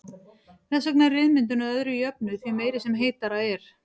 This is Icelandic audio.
Þess vegna er ryðmyndun að öðru jöfnu því meiri sem heitara er.